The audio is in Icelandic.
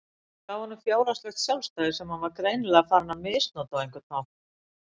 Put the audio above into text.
Þetta gaf honum fjárhagslegt sjálfstæði sem hann var greinilega farinn að misnota á einhvern hátt.